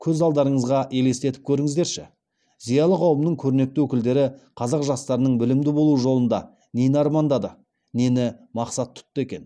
көз алдарыңызға елестетіп көріңіздерші зиялы қауымның көрнекті өкілдері қазақ жастарының білімді болу жолында нені армандады нені мақсат тұтты екен